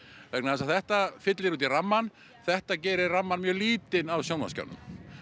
vegna þess að þetta fyllir út í rammann þetta gerir rammann mjög lítinn á sjónvarpsskjánum